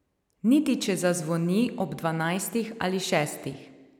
Niti če zazvoni ob dvanajstih ali šestih.